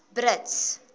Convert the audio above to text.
brits